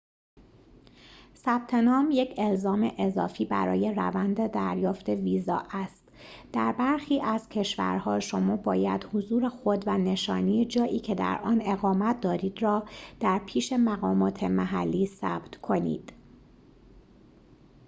ثبت نام یک الزام اضافی برای روند دریافت ویزا است در برخی از کشورها شما باید حضور خود و نشانی جایی که در آن اقامت دارید را در پیش مقامات محلی ثبت کنید